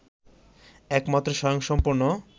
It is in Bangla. একমাত্র স্বয়ংসম্পূর্ণ